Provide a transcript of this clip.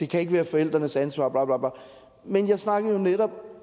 kan være forældrenes ansvar men jeg snakkede jo netop